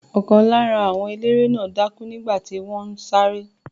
Ọ̀kan lára àwọn eléré náà dákú nígbà tí wọ́n ń sáré.